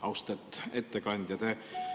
Austet ettekandja!